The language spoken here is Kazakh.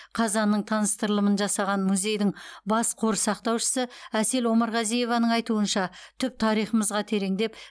қазанның таныстырылымын жасаған музейдің бас қор сақтаушысы әсел омарғазиеваның айтуынша түп тарихымызға тереңдеп